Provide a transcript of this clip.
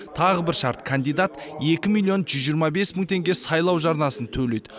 тағы бір шарт кандидат екі миллион жүз жиырма бес мың теңге сайлау жарнасын төлейді